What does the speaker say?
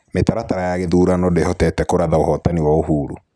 Mĩtaratara ya gĩthurano ndĩhotete kũratha ũvootani wa Uhuru.